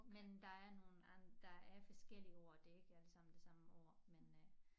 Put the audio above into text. Men der er nogle der er forskellige ord det ikke alle sammen det samme ord men øh